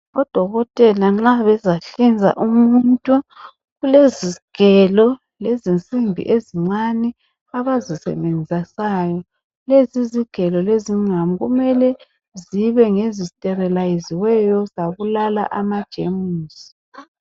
Odokotela nxa bezahlinza umuntu kulezigelo ezensimbi ezincane abazisebenzisayo lezi zigelo lezingqamu kumele kube ngezisteriliziweyo zabulala amajemisi.